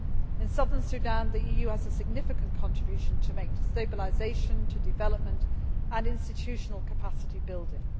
In Southern Sudan, the EU has a significant contribution to make to stabilisation, development and institutional capacity building.